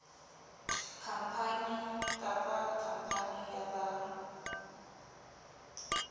khampani kapa khampani ya ba